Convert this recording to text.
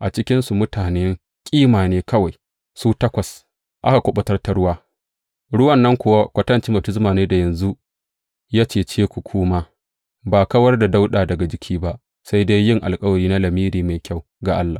A cikinsa mutane kima ne kawai, su takwas, aka kuɓutar ta ruwa, ruwan nan kuwa kwatancin baftisma ne da yanzu ya cece ku ku ma, ba kawar da dauda daga jiki ba, sai dai yin alkawari na lamiri mai kyau ga Allah.